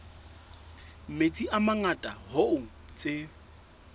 metsi a mangata hoo tse